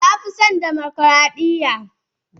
Na fi son dimokradiyya.